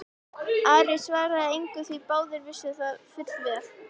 Ari svaraði engu því báðir vissu það fullvel.